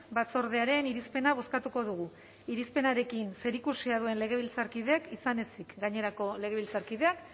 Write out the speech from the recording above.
batzordearen irizpena bozkatuko dugu irizpenarekin zerikusia duen legebiltzarkideek izan ezik gainerako legebiltzarkideak